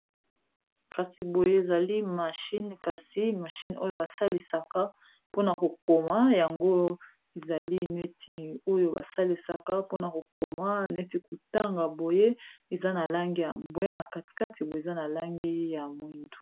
kasi boye ezali mashine kasi mashine oyo basalisaka mpona kokoma yango ezali neti oyo basalisaka mpona kokoma neti kotanga boye eza na langi ya mbwe na katikati boye eza na langi ya mwindu